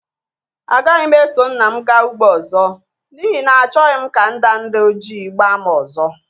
Agaghị m eso nna m gaa ugbo ọzọ, n'ihi na achọghị m ka ndanda ojii gbaa m ọzọ.